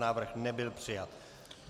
Návrh nebyl přijat.